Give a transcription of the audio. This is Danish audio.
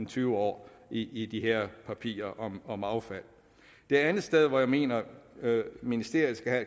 tyve år i i de her papirer om om affald det andet sted hvor jeg mener at ministeriet skal